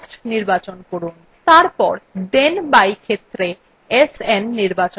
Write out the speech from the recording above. তারপর then by ক্ষেত্রে sn নির্বাচন করুন